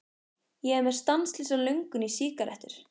Ég er með stanslausa löngun í sígarettur.